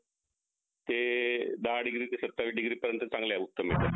ते दहा degree ते सत्तावीस degree पर्यंत चांगले उत्तम मिळतात